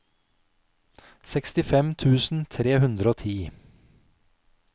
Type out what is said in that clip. sekstifem tusen tre hundre og ti